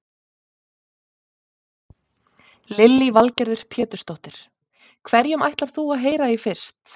Lillý Valgerður Pétursdóttir: Hverjum ætlar þú að heyra í fyrst?